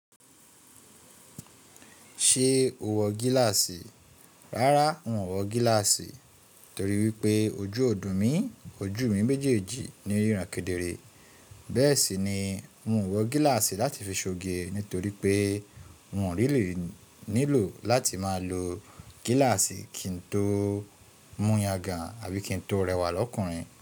Ṣé o wọ gíláàsì? Rárá n ò wọ gíláàsì torí wípé ojú ọ̀ dùn mí ojú mi méjèèjì ní n rìràn kédèré. Bẹ́ẹ̀ sì ni n ò wọ gíláàsì láti fi ṣoge nítorí pé n ò ní lè nílò láti máa lo gíláàsì kí n tó mú yangàn àbí kí n tó rẹwà lọ́kùnrin.